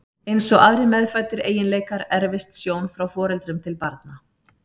Eins og aðrir meðfæddir eiginleikar erfist sjón frá foreldrum til barna.